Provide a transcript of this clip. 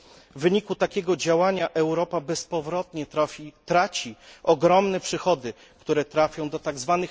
W wyniku takiego działania Europa bezpowrotnie traci ogromne przychody, które trafią do tzw.